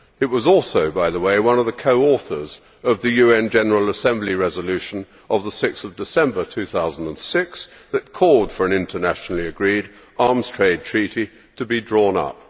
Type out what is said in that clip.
It was also, by the way, one of the co authors of the UN General Assembly resolution of 6 December 2006 that called for an internationally agreed arms trade treaty to be drawn up.